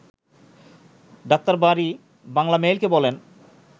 ডা. বারী বাংলামেইলকে বলেন